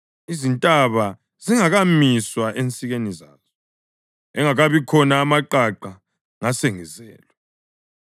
izintaba zingakamiswa ensikeni zazo, engakabi khona amaqaqa, ngasengizelwe,